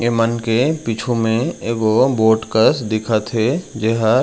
ए मन में पीछू में एगो बोट कस दिखत हे।